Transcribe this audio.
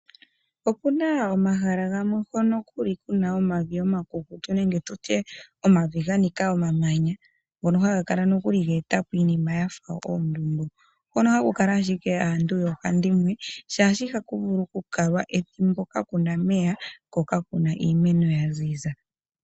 Opuna omahala gamwe mpa puli kuna omavi omakukutu nenge tutye omavi ganika omamanya, ngono haga kala nokuli geeta po iinima yafa oondundu, hono haku kala ashike aantu yoohandimwe, shaashi ihaku vulu oku kalwa ethimbo, kakuna omeya, ko kakuna iimeno ya za zi.